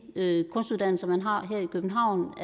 kunstuddannelser man har her i københavn